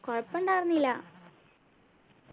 കൊഴപ്പൊണ്ടാർന്നില്ല